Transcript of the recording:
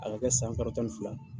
A ka kɛ san kalo tan ni fila